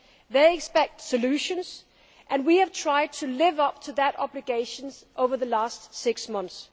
They expect solutions and we have tried to live up to that obligation over the last six months.